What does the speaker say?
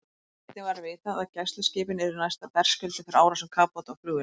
Einnig var vitað, að gæsluskipin yrðu næsta berskjölduð fyrir árásum kafbáta og flugvéla.